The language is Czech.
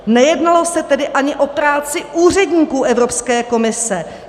Nejednalo se tedy ani o práci úředníků Evropské komise.